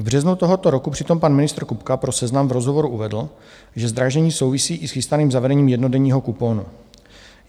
V březnu tohoto roku přitom pan ministr Kupka pro Seznam v rozhovoru uvedl, že zdražení souvisí i s chystaným zavedením jednodenního kuponu.